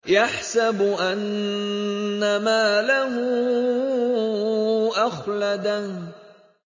يَحْسَبُ أَنَّ مَالَهُ أَخْلَدَهُ